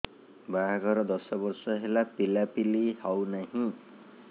ବାହାଘର ଦଶ ବର୍ଷ ହେଲା ପିଲାପିଲି ହଉନାହି